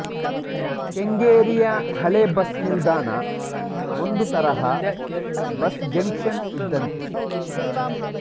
ಕೆಂಗೇರಿಯ ಹಳೆ ಬಸ್ ನಿಲ್ದಾಣ ಒಂದು ತರಹ ಬಸ್ ಜಂಕ್ಷನ್ ಇದ್ದಂತೆ